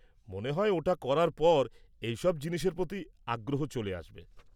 -মনে হয় ওটা করার পর ওর এইসব জিনিসের প্রতি আগ্রহ চলে আসবে।